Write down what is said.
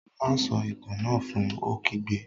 Má a sọ Itàn náà fun! Ó kígbe